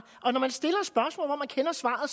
og